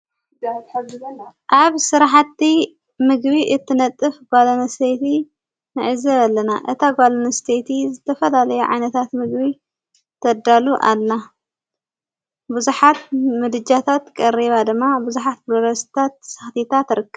ኣብ ሥራሕቲ ምግቢ እትነጥፍ ጓልንሴይቲ ንዕዘብ ኣለና እታ ጓልኒስተቲ ዝተፈላለየ ዓይነታት ምግቢ ተዳሉ ኣላ ብዙኃት ምድጃታት ቀሪባ ደማ ብዙኃት ብሎረስታት ሳኽቲታ ትርከብ።